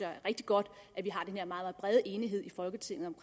er rigtig godt at vi har den her meget meget brede enighed i folketinget om